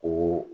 O